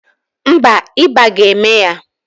Mba, ịba ga-eme ya.